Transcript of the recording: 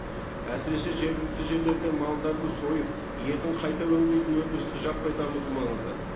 әсіресе жергілікті жерлерде малдарды сойып етін қайта өңдейтін өнідірісті жаппай дамыту маңызды